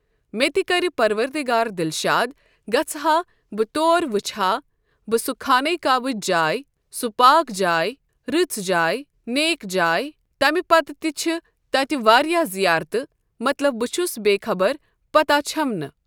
مےٚ تہِ کَرِ پَروَردِگار دِلشاد گژھٕ ہا بہٕ تور وٕچھ ہا بہٕ سۄ خانہ کعبٕچ جاے سۄ پاک جاے رٕژ جاے نیک جاے تمہِ پَتہٕ تہِ چھِ تَتہِ واریاہ زیارتہٕ مطلب بہٕ چھس بےخبر پَتا چھَم نہٕ۔